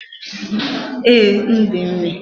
Ee, m dị ime